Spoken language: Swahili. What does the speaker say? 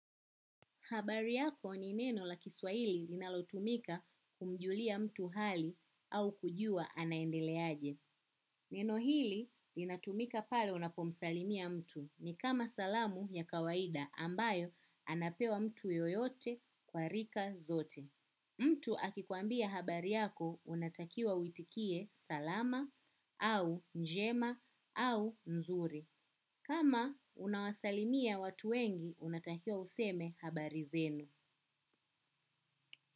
Habari yako ni neno la kiswaili linalotumika kumjulia mtu hali au kujua anaendele aje. Neno hili inatumika pale unapomsalimia mtu ni kama salamu ya kawaida ambayo anapewa mtu yoyote kwa rika zote. Mtu akikuambia habari yako unatakiwa uitikie salama au njema au nzuri. Kama unawasalimia watu wengi unatakiwa useme habari zenu.